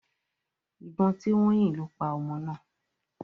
Ìbọn tí wọ́n yìn lo paa ọmọ náà.